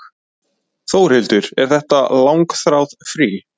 Þórhildur: Er þetta langþráð frí?